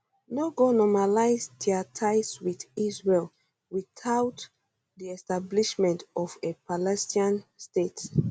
no go normalise dia ties wit israel witout di establishment of a palestinian state